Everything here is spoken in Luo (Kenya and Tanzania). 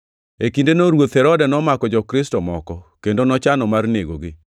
E kindeno ruoth Herode nomako jo-Kristo moko, kendo nochano mar negogi.